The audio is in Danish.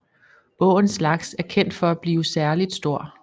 Åens laks er kendt for at blive særligt stor